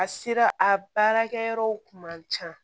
A sera a baarakɛyɔrɔw kun man ca